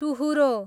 टुहुरो